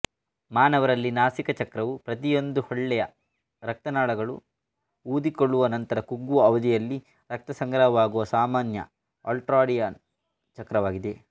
ಮಾನವರಲ್ಲಿ ನಾಸಿಕ ಚಕ್ರವು ಪ್ರತಿಯೊಂದು ಹೊಳ್ಳೆಯ ರಕ್ತನಾಳಗಳು ಊದಿಕೊಳ್ಳುವ ನಂತರ ಕುಗ್ಗುವ ಅವಧಿಯಲ್ಲಿ ರಕ್ತ ಸಂಗ್ರಹವಾಗುವ ಸಾಮಾನ್ಯ ಅಲ್ಟ್ರಾಡಿಯಾನ್ ಚಕ್ರವಾಗಿದೆ